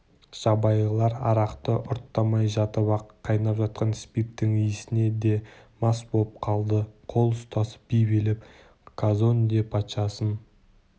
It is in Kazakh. жабайылар арақты ұрттамай жатып-ақ қайнап жатқан спирттің иісіне де мас боп қалды қол ұстасып би билеп казонде патшасын